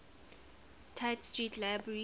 tite street library